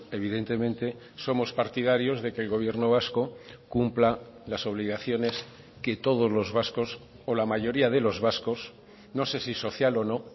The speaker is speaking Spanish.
evidentemente somos partidarios de que el gobierno vasco cumpla las obligaciones que todos los vascos o la mayoría de los vascos no sé si social o no